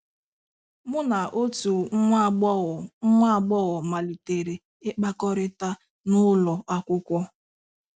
“Mu na otu nwa agbọghọ nwa agbọghọ mmalitere ịkpakọrịta n'ụlọ akwụkwọ.